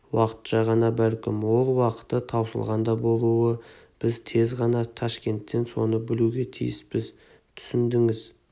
уақытша ғана бәлкім ол уақыты таусылған да болуы біз тез ғана ташкенттен соны білуге тиіспіз түсіндіңіз